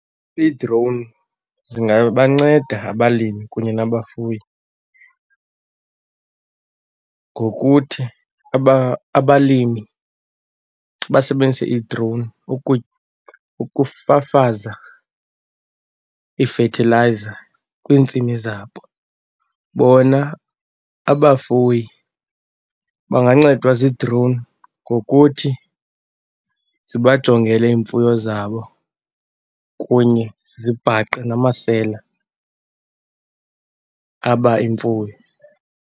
Iidrowuni zingabanceda abalimi kunye nabafuyi ngokuthi abalimi basebenzise idrowuni ukufafaza iifethilayiza kwiintsimi zabo. Bona abafuyi bangancedwa ziidrowuni ngokuthi zibajongele iimfuyo zabo kunye zibhaqe namasela aba imfuyo.